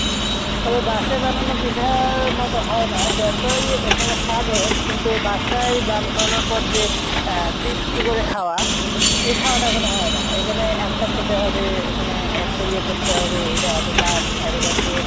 তবে বাসায় বানানো পিঠার মত হয়না যতই ওখানে স্বাদ হোক কিন্তু বাসাই বানানোর পর যে আহ তৃপ্তি করে খাওয়া এই খাওয়া টা ওখানে হয় না এখানে একটা খেতে হবে ওখানে একটা ইয়ে করতে হবে এটা এত দাম এত দাম দিয়ে